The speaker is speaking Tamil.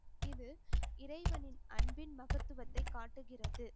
இது இறைவனின் அன்பின் மகத்துவத்தை காட்டுகிறது